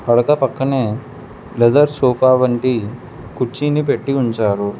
పడక పక్కనే leather sofa వంటి కుర్చీని పెట్టి ఉంచారు.